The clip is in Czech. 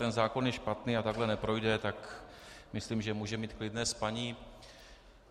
Ten zákon je špatný a takhle neprojde, tak myslím, že může mít klidné spaní.